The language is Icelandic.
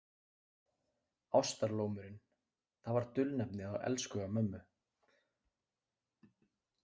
Ástarlómurinn, það var dulnefnið á elskhuga mömmu.